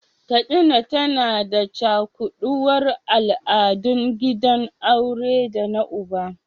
Katsina tana da cakuɗuwar al’adun gidan aure da na uba.